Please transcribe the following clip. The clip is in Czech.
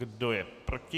Kdo je proti?